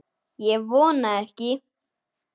Ég vona ekki